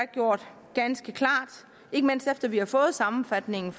gjort ganske klart ikke mindst efter at vi har fået sammenfatningen